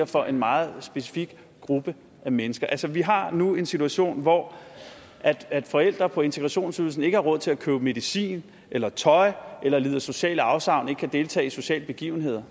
for en meget specifik gruppe af mennesker altså vi har nu en situation hvor forældre på integrationsydelsen ikke har råd til at købe medicin eller tøj eller lider sociale afsavn og ikke kan deltage i sociale begivenheder